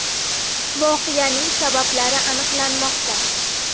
Voqeaning sabablari aniqlanmoqda.